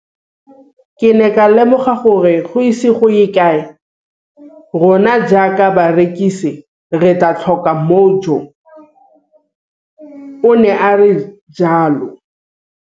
Ke ne ka lemoga gore go ise go ye kae rona jaaka barekise re tla tlhoka mojo, o ne a re jalo.